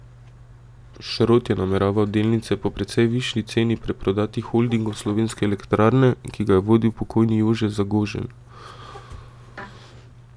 Šrot je nameraval delnice po precej višji ceni preprodati Holdingu Slovenske elektrarne, ki ga je vodil pokojni Jože Zagožen.